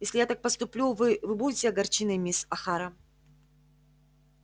если я так поступлю вы вы будете огорчены мисс охара